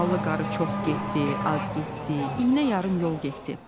Ballı qarı çox getdi, az getdi, iynə yarım yol getdi.